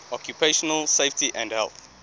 occupational safety and health